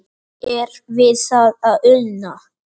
Er við það að una?